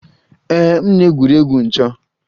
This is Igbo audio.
Ee m na-egwuri egwu 'ncho'